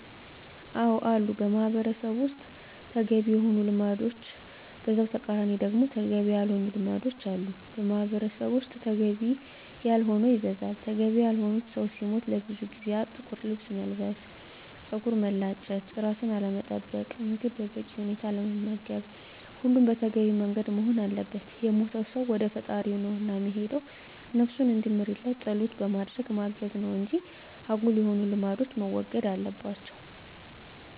አዎ አሉ በማህበረሰቡ ውስጥ ተገቢ የሆኑ ልማዶች በዛው ተቃራኒ ደግሞ ተገቢ ያልሆኑ ልማዶች አሉ። በማህበረሰቡ ዘንድ ተገቢ ያልሆነው ይበዛል። ተገቢ ያልሆኑት ሰው ሲሞት ለብዙ ጊዜያት ጥቁር ለብስ መልበስ፣ ፀጉርን መላጨት፣ ራስን አለመጠበቅ፣ ምግብ በበቂ ሁኔታ አለመመገብ ሁሉም በተገቢው መንገድ መሆን አለበት። የሞተው ሰው ወደ ፈጣሪው ነው እና የሄደው ነብሱን እንዲምርለት ፀሎት በማድረግ ማገዝ ነው እንጂ አጉል የሆኑ ልማዶች መወገድ አለባቸው